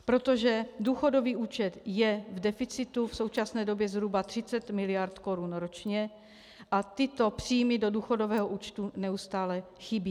Protože důchodový účet je v deficitu v současné době zhruba 30 mld. korun ročně a tyto příjmy do důchodového účtu neustále chybí.